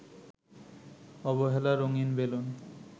অবহেলা রঙিন বেলুন